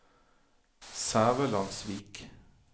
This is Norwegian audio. Sævelandsvik